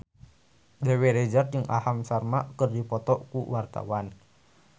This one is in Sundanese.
Dewi Rezer jeung Aham Sharma keur dipoto ku wartawan